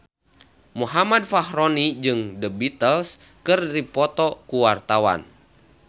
Muhammad Fachroni jeung The Beatles keur dipoto ku wartawan